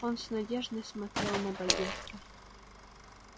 он с надеждой смотрел на богерта